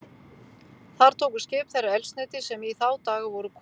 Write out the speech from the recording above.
Þar tóku skip þeirra eldsneyti, sem í þá daga voru kol.